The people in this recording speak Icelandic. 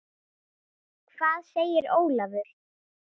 Hvað segir Ólafur?